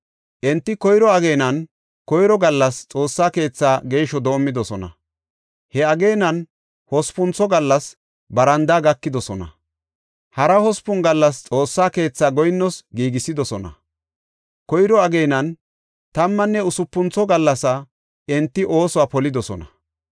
Enti koyro ageenan, koyro gallas Xoossa keethaa geeshsho doomidosona; he ageenan hospuntho gallas barandaa gakidosona. Hara hospun gallas Xoossa keethaa goyinnoos giigisidosona. Koyro ageenan tammanne usupuntho gallas enti oosuwa polidosona.